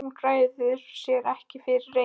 Hún ræður sér ekki fyrir reiði.